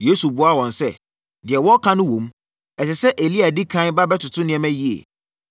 Yesu buaa wɔn sɛ, “Deɛ wɔreka no wom. Ɛsɛ sɛ Elia di ɛkan ba bɛtoto nneɛma yie.